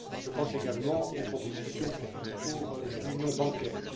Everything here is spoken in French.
Je pense également aux propositions pour l'union bancaire.